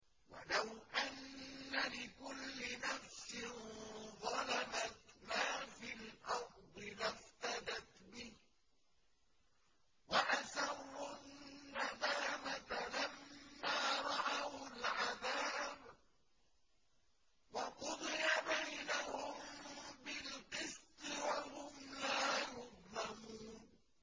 وَلَوْ أَنَّ لِكُلِّ نَفْسٍ ظَلَمَتْ مَا فِي الْأَرْضِ لَافْتَدَتْ بِهِ ۗ وَأَسَرُّوا النَّدَامَةَ لَمَّا رَأَوُا الْعَذَابَ ۖ وَقُضِيَ بَيْنَهُم بِالْقِسْطِ ۚ وَهُمْ لَا يُظْلَمُونَ